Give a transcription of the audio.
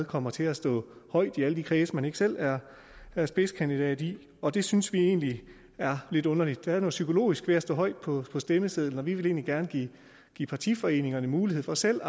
kommer til at stå højt i alle de kredse man ikke selv er er spidskandidat i og det synes vi egentlig er lidt underligt der er noget psykologisk ved at stå højt på stemmesedlen og vi vil egentlig gerne give give partiforeningerne mulighed for selv